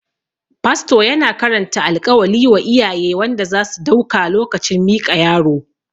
Fasto yana karanta alkawali wa iyaye wanda zasu dauka lokacin miƙa yaro